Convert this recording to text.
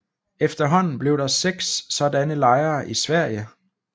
Efterhånden blev der seks sådanne lejre i Sverige